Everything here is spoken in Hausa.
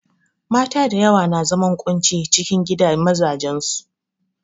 Mata da yawa na zaman ƙunci ciki a gidan mazajen su.